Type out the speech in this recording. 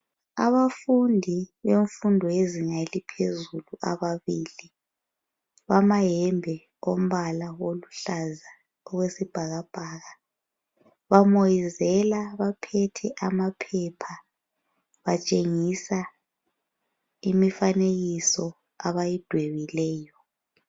abafundi bemfundo yezinga eliphezulu ababilibamayembe alombala oluhlaza okwesibhakabhaka bamoyizela baphethe amaphepha batshengisa imifanekiso abayidwebileyo